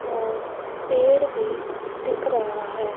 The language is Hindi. और पेड़ भी दिख रहा है।